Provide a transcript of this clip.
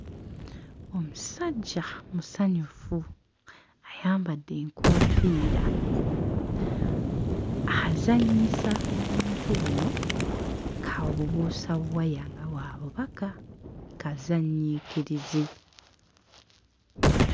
Omusajja musanyufu ayambadde enkoofiira azannyisa obuntu buno ng'abubuusa waya nga bw'abubaka kazannyiikirizi.